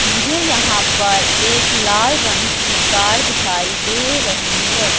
मुझे यहां पर एक लाल रंग की कार दिखाई दे रही है।